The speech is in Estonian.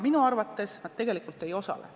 Minu arvates nad tegelikult ei osale.